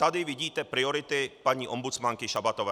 Tady vidíte priority paní ombudsmanky Šabatové.